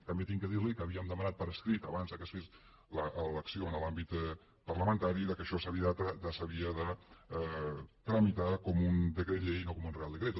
també haig de dir li que havíem demanat per escrit abans que es fes l’acció en l’àmbit parlamentari que això s’havia de tramitar com un decret llei i no com un real decreto